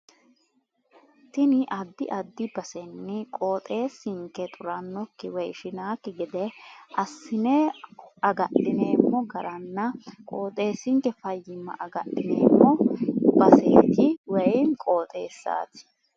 Tini addi addi basenni qoxeessinke xurannokki woy ishinannokki gede assi'ne agadhineemmo garanna qoxeessinke fayyimma agadhineemmo baseeti woy qoxeessaati